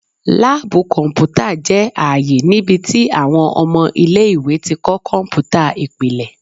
Laabu kọnputa jẹ aaye nibiti awọn ọmọ ile-iwe ti kọ kọnputa ipilẹ